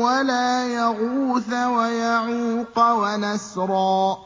وَلَا يَغُوثَ وَيَعُوقَ وَنَسْرًا